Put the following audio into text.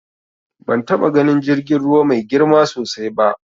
Ban taɓa ganin jirgin ruwa mai girma sosai ba.